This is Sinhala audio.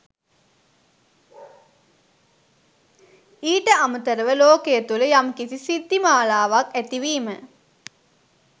ඊට අමතරව ලෝකය තුළ යම් කිසි සිද්ධිමලාවක් ඇතිවීම